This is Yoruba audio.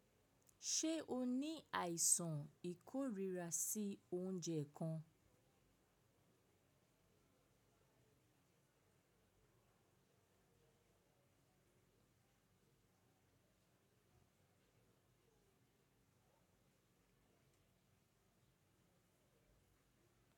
Ṣé o ní àìsàn ìkórira sí oúnjẹ kan?